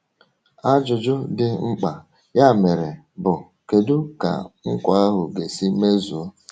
Ajụjụ dị mkpa, ya mere, bụ: Kedu ka nkwa ahụ ga-esi mezuo?